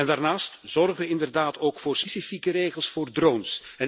Daarnaast zorgen we inderdaad ook voor specifieke regels voor drones.